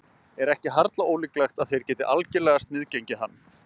Er ekki harla ólíklegt að þeir geti algerlega sniðgengið hann?